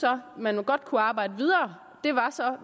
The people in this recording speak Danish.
man godt kunne arbejde videre